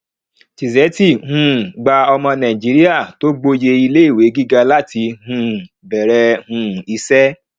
tizeti um gba ọmọ nàìjíríà tó gbòye iléìwé gíga láti um bèèrè um iṣẹ